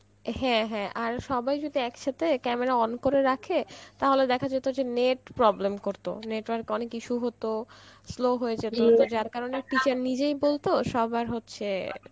হ্যাঁ হ্যাঁ আর সবাই যদি এক সথে camera on করে রাখে, তাহলে দেখা যেত যে net problem করতো, network অনেক issue হত স্লো হয়ে যার কারণ এ, teacher নিজেই বলত সবার হচ্ছে